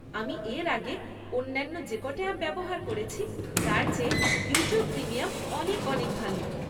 আমি এর আগে অন্যান্য যে ক'টা অ্যাপ ব্যবহার করেছি তার চেয়ে ইউটিউব প্রিমিয়াম অনেক অনেক ভালো।